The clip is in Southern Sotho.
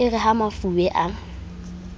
e re ha mafube a